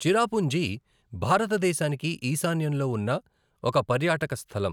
చిరాపుంజి భారతదేశానికి ఈశాన్యంలో ఉన్న ఒక పర్యాటక స్థలం.